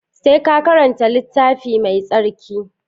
Sai ka karanta littafi mai tsarki